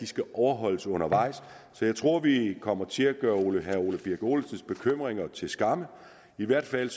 skal overvåges undervejs så jeg tror vi kommer til at gøre herre ole birk olesens bekymringer til skamme i hvert fald